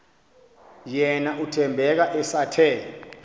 yena uthembeka esathe